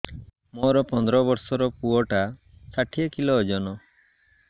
ମୋର ପନ୍ଦର ଵର୍ଷର ପୁଅ ଟା ଷାଠିଏ କିଲୋ ଅଜନ